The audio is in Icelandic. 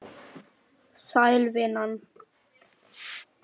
Sæl, vinan.